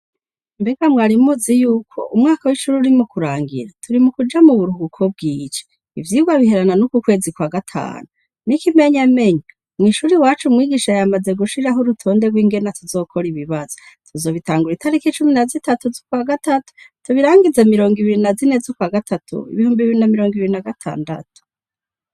Mbega mwari muzi yuko umwaka w'ishure uri mu kurangira? Turi mu kuja mu buruhuko bw'ici. Ivyigwa biherana n'uku kwezi kwa gatanu. N'ikimenyamenya, mw'ishure iwacu umwigisha yamaze gushiraho urutonde rw'ingene tuzokora ibibazo. Tuzobitangura itariki cumi na zitatu z'ukwa gatatu tubirangize mirongo ibiri na zine z'ukwa gatatu ibihumbi bibiri na mirongo ibiri na gatandatu.